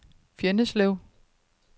Fjenneslev